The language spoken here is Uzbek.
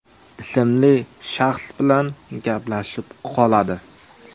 ismli shaxs bilan gaplashib qoladi.